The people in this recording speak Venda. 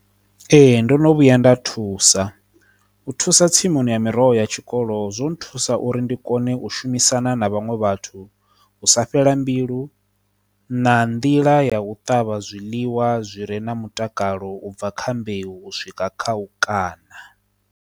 Ee, ndono vhuya nda thusa u thusa tsimuni ya miroho ya tshikolo zwo thusa uri ndi kone u shumisana na vhaṅwe vhathu u sa fhela mbilu na nḓila ya u ṱavha zwiḽiwa zwire na mutakalo ubva kha mbeu u swika kha u kana.